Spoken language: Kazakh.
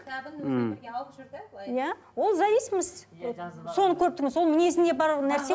кітабын өзімен бірге алып жүр де былай иә ол зависимость соны көріп тұрмын соның мінезіне барлық нәрсе